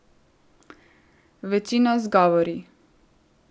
Večino z govori.